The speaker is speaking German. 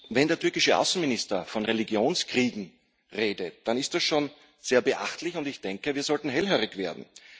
Wenn der türkische Außenminister von Religionskriegen redet, dann ist das schon sehr beachtlich, und ich denke, wir sollten hellhörig werden.